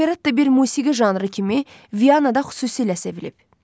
Operetta bir musiqi janrı kimi Vyanada xüsusilə sevilib.